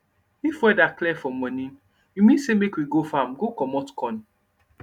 if weather clear for morning e mean say make we go farm go commot corn